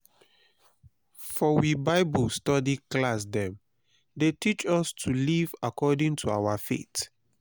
for we bible study class dem dey teach us to live according to our faith